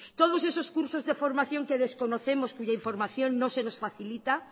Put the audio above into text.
todos esos cursos de formación que desconocemos cuya información no se nos facilita